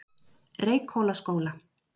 Reykhólaskóla